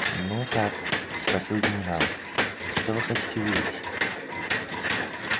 ну как спросил генерал что вы хотите увидеть